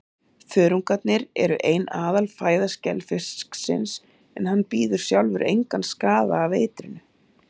Þörungarnir eru ein aðalfæða skelfisksins, en hann bíður sjálfur engan skaða af eitrinu.